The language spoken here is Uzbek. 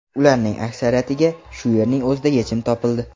Ularning aksariyatiga shu yerning o‘zida yechim topildi.